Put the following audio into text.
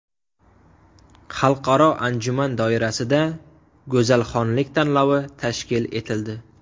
Xalqaro anjuman doirasida g‘azalxonlik tanlovi tashkil etildi.